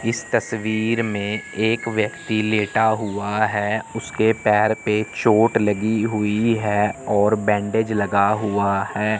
इस तस्वीर में एक व्यक्ति लेटा हुआ है उसके पैर पे चोट लगी हुई है और बैंडेज लगा हुआ है।